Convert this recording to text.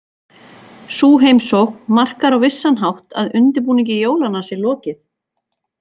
Sú heimsókn markar á vissan hátt að undirbúningi jólanna sé lokið.